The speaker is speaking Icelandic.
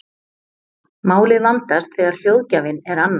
Málið vandast þegar hljóðgjafinn er annar.